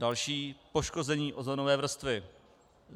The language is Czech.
Další poškození ozónové vrstvy.